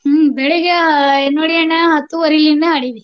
ಬೆಳಿಗ್ಗೆ ನೋಡಿ ಅಣ್ಣ ಹತ್ತುವರಿಯಿಂದ ಆಡಿವಿ.